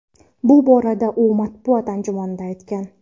Bu borada u matbuot anjumanida aytgan.